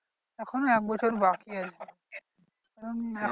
এখনো একবছর বাকি আছে কারণ